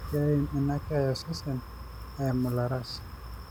keim ina keeya ososen eimu ilaras